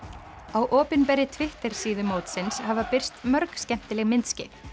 á opinberri Twitter síðu mótsins hafa birst mörg skemmtileg myndskeið